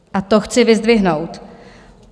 A to chci vyzdvihnout.